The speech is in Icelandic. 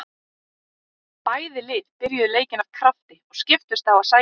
Bæði lið byrjuðu leikinn af krafti og skiptust á að sækja.